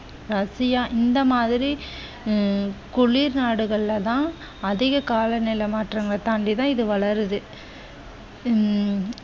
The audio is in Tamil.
ரஷ்யா இந்த மாதிரி அஹ் குளிர் நாடுகளில் தான் அதிக கால நிலை மாற்றங்கள் தாண்டி தான் இது வளருது உம்